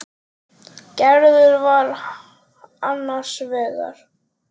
Gerður var annars vegar.